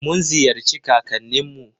Mun ziyarci kakannin mu.